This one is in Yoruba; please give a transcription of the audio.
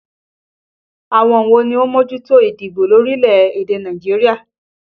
Àwọn wo ni ó ń mójútó ìdìbò lórílẹ̀ èdè Nàìjíríà?